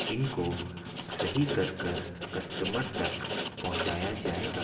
इनको सही कर-कर कस्टमर तक पहुंचाया जाएगा।